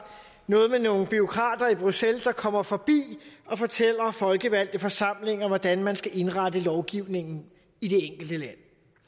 noget med nogle bureaukrater i bruxelles der kommer forbi og fortæller folkevalgte forsamlinger hvordan man skal indrette lovgivningen i det enkelte land